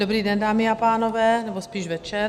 Dobrý den dámy a pánové, nebo spíš večer.